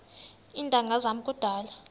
iintanga zam kudala